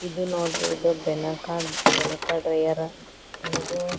ಇದು ನೋಡ್ರಿ ಇದು ಬೆನಕ ಬೆನಕ ಡ್ರೈಯೆರ್ ಏನಿದು.